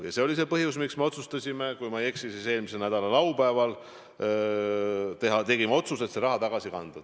Ja see oli see põhjus, miks me otsustasime – kui ma ei eksi, siis eelmise nädala laupäeval tegime selle otsuse – raha tagasi kanda.